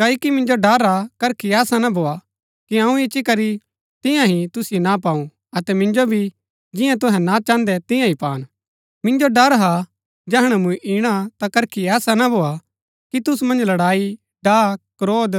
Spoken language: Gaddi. क्ओकि मिन्जो ड़र हा करखी ऐसा ना भोआ कि अऊँ इच्ची करी जियां चाहन्दा हा तियां ही तुसिओ ना पाऊ अतै मिन्जो भी जियां तुहै ना चाहन्दै तियां ही पान मिन्जो ड़र हा जैहणै मूँ इणा ता करखी ऐसा ना भोआ कि तुसु मन्ज लड़ाई डाह क्रोध